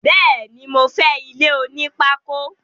Béèni, mo fé ilé onípákó